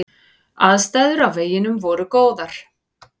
Aðstæður á veginum voru góðar.